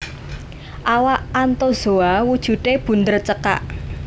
Awak Anthozoa wujudé bunder cekak